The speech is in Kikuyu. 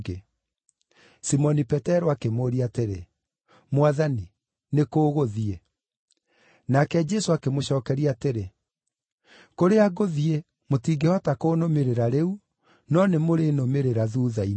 Simoni Petero akĩmũũria atĩrĩ, “Mwathani nĩ kũ ũgũthiĩ?” Nake Jesũ akĩmũcookeria atĩrĩ, “Kũrĩa ngũthiĩ, mũtingĩhota kũnũmĩrĩra rĩu, no nĩmũrĩnũmĩrĩra thuutha-inĩ.”